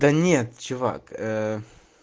да нет чувак ээ